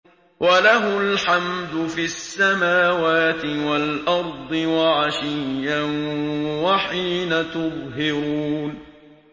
وَلَهُ الْحَمْدُ فِي السَّمَاوَاتِ وَالْأَرْضِ وَعَشِيًّا وَحِينَ تُظْهِرُونَ